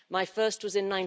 My first was in